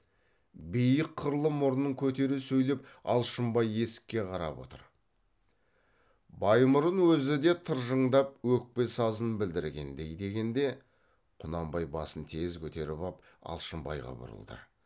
биік қырлы мұрнын көтере сөйлеп алшынбай есікке қарап отырып баймұрын өзі де тыржыңдап өкпе сазын білдіргендей дегенде құнанбай басын тез көтеріп ап алшынбайға бұрылды